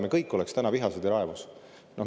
Me kõik oleks vihased ja raevus.